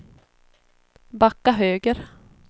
backa höger